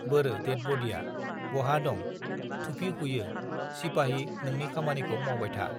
बोरो डेड बडिआ बहा दं थुपि खुयो सिपाहि नोंनि खामानिखौ मावबाय था